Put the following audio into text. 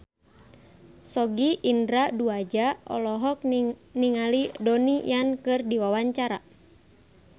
Sogi Indra Duaja olohok ningali Donnie Yan keur diwawancara